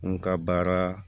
N ka baara